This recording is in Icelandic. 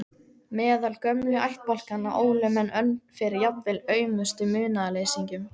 Meðal gömlu ættbálkanna ólu menn önn fyrir jafnvel aumustu munaðarleysingjum.